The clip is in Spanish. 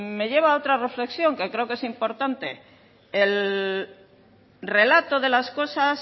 me lleva a otra reflexión que creo que es importante el relato de las cosas